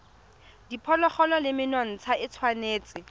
diphologolo le menontsha e tshwanetse